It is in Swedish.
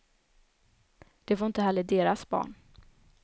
Det får inte heller deras barn.